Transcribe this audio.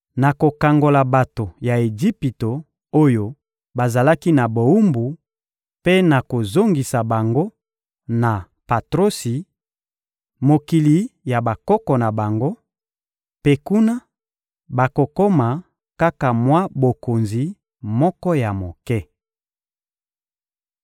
nakokangola bato ya Ejipito oyo bazalaki na bowumbu mpe nakozongisa bango na Patrosi, mokili ya bakoko na bango; mpe kuna, bakokoma kaka mwa bokonzi moko ya moke.